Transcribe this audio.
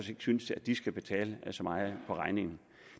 synes at de skal betale så meget af regningen